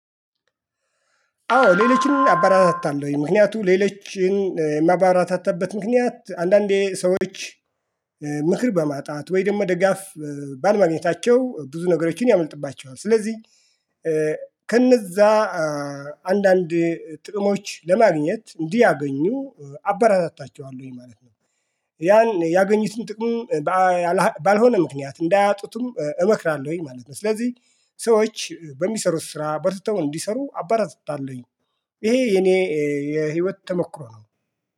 አዎ ሌሎችን አበራታታለሁኝ። ምክንያቱም ሌሎችን የማበራታታበት ምክንያት አንዳንዴ ሰዎች ምክር በማጣት ወይ ደግሞ ድጋፍ ባለ ማግኘታቸው ብዙ ነገሮችን ያመልጥባቸዋል ስለዚህ ከነዛ አንዳንድ ጥቅሞች ለማግኘት እንዲያገኙ አበራታችኋለሁኝ ማለት ነው። ያን ያገኙትን ጥቅም ባልሆነ ምክንያት እንዳያጡትም እመክራለሁኝ ማለት ነው። ስለዚህ ሰዎች በሚሰሩት ስራ በርትተው እንዲሰሩ አባራታታለሁኝ። ይሄ የኔ የህይወት ተሞክሮ ነው።